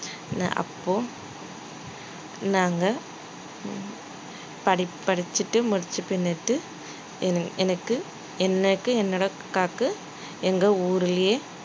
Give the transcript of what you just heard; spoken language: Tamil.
அப்போ நாங்க படிப்~ படிச்சிட்டு முடிச்சிபின்னுட்டு என்~ எனக்கு என்னோட அக்காக்கு எங்க ஊர்லயே